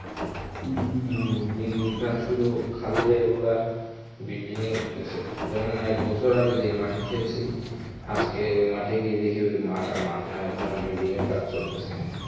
হম দিন দিন শুধু খালি জায়গাগুলা building ই উঠতাসে যেমন একবছর আগে যেই মাঠে খেলসি আজকে ওই মাঠে গিয়ে দেখি ওই মাঠ আর মাঠ নাই ওখানে building এর কাজ চলতাসে.